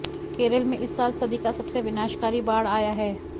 केरल में इस साल सदी का सबसे विनाशकारी बाढ़ आया है